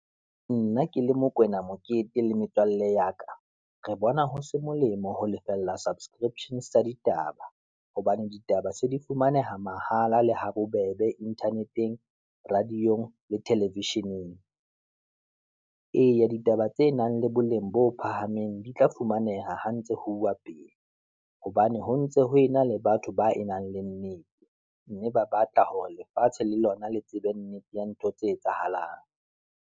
Nna ke le Mokoena Mokete le metswalle ya ka, re bona ho se molemo ho lefella subscription sa ditaba, hobane ditaba se di fumaneha mahala le habobebe internet-eng, radio-ng, le television-eng. Eya ditaba tse nang le boleng bo phahameng di tla fumaneha ho ntse ho uwa pele. Hobane ho ntse ho ena le batho ba e nang le , mme ba batla hore lefatshe le lona le tsebe nnete ya ntho tse etsahalang.